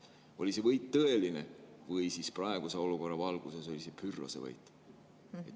Oli see võit tõeline või siis oli see praeguses olukorras Pyrrhose võit?